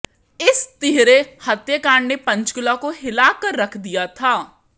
इस तिहरे हत्याकांड ने पंचकूला को हिला कर रख दिया था